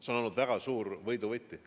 See on olnud väga oluline võidu võti.